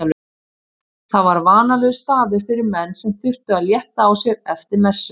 Það var vanalegur staður fyrir menn sem þurftu að létta á sér eftir messu.